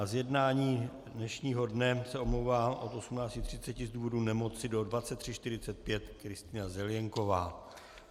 Z jednání dnešního dne se omlouvá od 18.30 z důvodu nemoci do 23.45 Kristýna Zelienková.